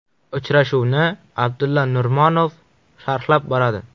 Uchrashuvni Abdulla Nurmonov sharhlab boradi.